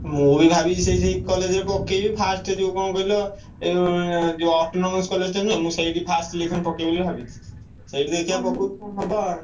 ମୁଁ ବି ଭାବିଛି ସେଇ ସେଇ college ରେ ପକେଇବି first ଯୋଉ କଣ କହିଲ ଏ ଯୋଉ ଯୋଉ autonomous college ଟା ନୁହେଁ ମୁଁ ସେଇଠି first selection ପକେଇବି ବୋଲି ଭାବିଛି। ସେଇଠି ଦେଖିଆ ପକଉଛି ହବ।